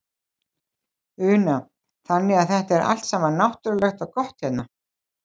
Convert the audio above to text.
Una: Þannig að þetta er allt saman náttúrulegt og gott hérna?